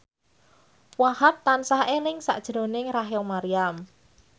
Wahhab tansah eling sakjroning Rachel Maryam